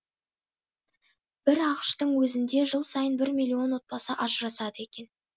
бір ақш тың өзінде жыл сайын бір миллион отбасы ажырасады екен